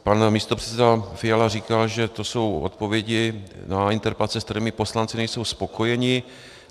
Pan místopředseda Fiala říkal, že to jsou odpovědi na interpelace, s kterými poslanci nejsou spokojeni.